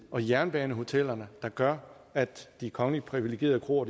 og jernbanehotellerne der gør at de kongeligt privilegerede kroer